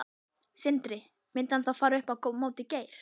Sindri: Myndi hann þá fara upp á móti Geir?